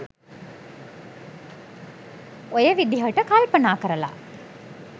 ඔය විදිහට කල්පනා කරලා.